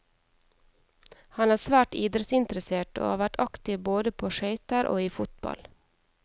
Han er svært idrettsinteressert, og har vært aktiv både på skøyter og i fotball.